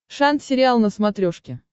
шант сериал на смотрешке